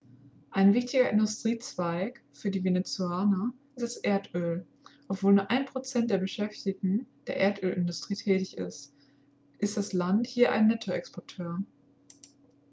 ein wichtiger industriezweig für die venezolaner ist das erdöl obwohl nur ein prozent der beschäftigten in der erdölindustrie tätig ist ist das land hier ein nettoexporteur